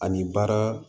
Ani baara